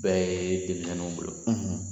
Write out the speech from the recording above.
Bɛɛ ye denmisɛnninw bolo